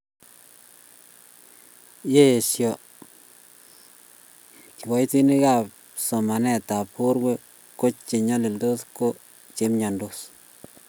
ya eiso kiboitinikab chamanetab borwek ko che nyalili ko che imyondos